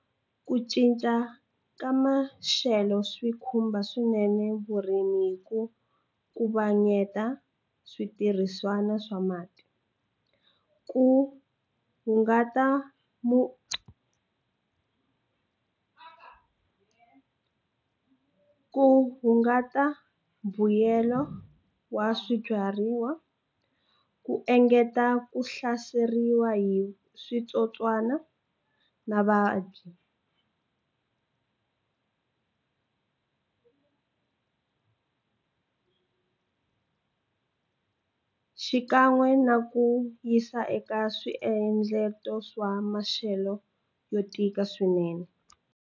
Ku cinca ka maxelo swi khumba swinene vurimi hi ku ku va switirhisiwa swa mati ku hungata mu ku hungata mbuyelo wa swibyariwa ku engeta ku hlaseriwa hi switsotswana na va xikan'we na ku yisa eka swa maxelo yo tika swinene.